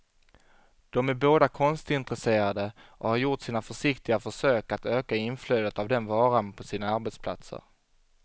De är båda konstintresserade och har gjort sina försiktiga försök att öka inflödet av den varan på sina arbetsplatser.